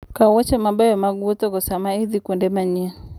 Kaw wuoche mabeyo mag wuothogo sama idhi kuonde manyien.